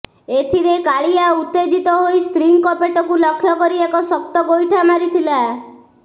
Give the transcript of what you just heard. ଏଥିରେ କାଳିଆ ଉତ୍ତେଜିତ ହୋଇ ସ୍ତ୍ରୀଙ୍କ ପେଟକୁ ଲକ୍ଷ୍ୟ କରି ଏକ ଶକ୍ତ ଗୋଇଠା ମାରିଥିଲା